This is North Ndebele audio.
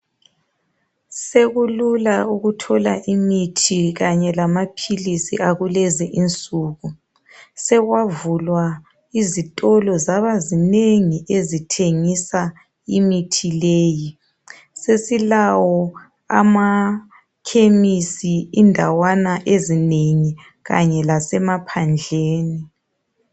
Sekulula ukuthola imithi kanye lamaphilizi akulezi insuku sokwavulwa izitolo zaba zinengi ezithengisa imithi leyi. Sesilawo amakhemisi endawana ezinengi kanye lasemaphandleni.